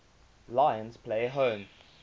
lions play home